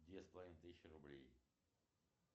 две с половиной тысячи рублей